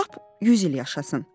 Qoy lap 100 il yaşasın.